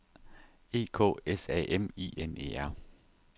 E K S A M I N E R